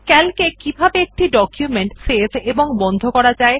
CALC এ কিভাবে একটি ডকুমেন্ট সেভ ও বন্ধ করবেন